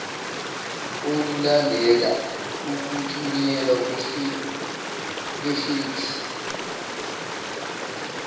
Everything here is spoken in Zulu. olulandela ukuthunyelwa kwefeksi